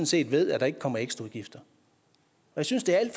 set ved at der ikke kommer ekstraudgifter jeg synes det er en